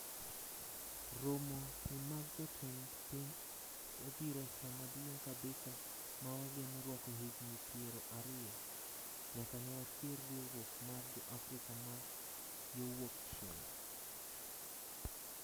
romo ni mag jotend piny obiro e sama duong kabisa ma wageno rwako higni piero ariyo. nyaka newachier riwruok mar Jo Afrika ma yo wuok chieng'